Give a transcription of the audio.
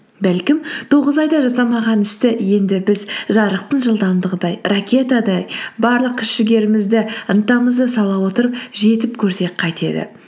бәлкім тоғыз айда жасамаған істі енді біз жарықтың жылдамдығындай ракетадай барлық күш жігерімізді ынтамызды сала отырып жетіп көрсек қайтеді